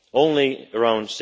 only around